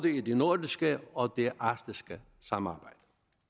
i det nordiske og det arktiske samarbejde